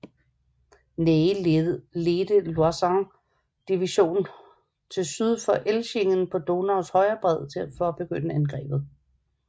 Ney ledte Loisons division til syd for Elchingen på Donaus højre bred for at begynde angrebet